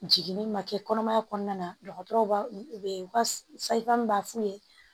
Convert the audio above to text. Jiginni ma kɛ kɔnɔmaya kɔnɔna na dɔgɔtɔrɔw b'a b'a f'u ye